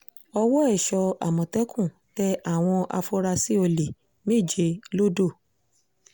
ọwọ́ èso àmọ̀tẹ́kùn tẹ àwọn afurasí olè méje lodò